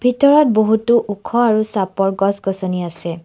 ভিতৰত বহুটো ওখ আৰু চাপৰ গছগছনি আছে।